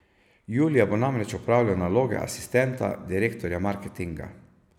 Julija bo namreč opravljal naloge asistenta direktorja marketinga.